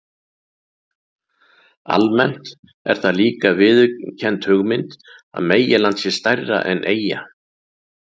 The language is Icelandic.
Almennt er það líka viðurkennd hugmynd að meginland sé stærra en eyja.